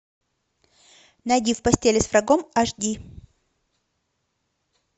найди в постели с врагом аш ди